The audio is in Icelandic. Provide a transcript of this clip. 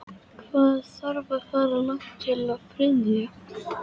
Hvað þarf að fara langt til að fá frið?